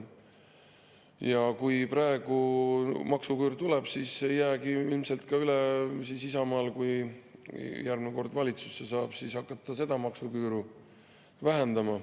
Ja kui praegu maksuküür tuleb, siis ei jäägi ilmselt ka Isamaal muud üle, kui ta järgmine kord valitsusse saab, hakata seda maksuküüru vähendama.